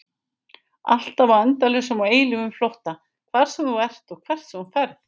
Alltaf á endalausum og eilífum flótta, hvar sem þú ert og hvert sem þú ferð.